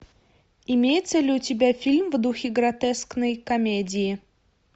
имеется ли у тебя фильм в духе гротескной комедии